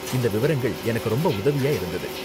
இந்த விவரங்கள் எனக்கு ரொம்ப உதவியா இருந்தது.